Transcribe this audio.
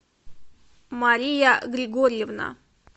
мария григорьевна